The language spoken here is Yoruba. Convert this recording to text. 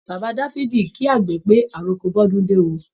Bàbá Dáfídì kí àgbè pé, àrọko bọ́dúndé ó